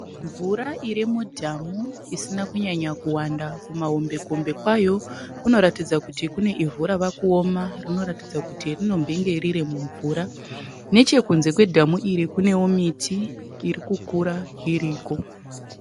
Mvura iri mudhamu isina kunyanya kuwanda. Kumahombekombe kwayo kunoratidza kuti kune ivhu rava kuoma rinoratidza kuti rinombenge riri mumvura. Nechekunze kwedhamu iri kunewo miti iri kukura iriko.